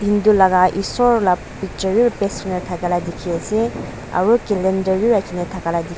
hindu laga esor la picture beh paste kurina taka lage teki ase aro calender beh rakhina taka laga tekhi ase.